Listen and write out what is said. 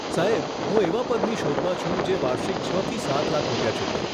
સાહેબ, હું એવા પદની શોધમાં છું જે વાર્ષિક છ થી સાત લાખ રૂપિયા ચૂકવે.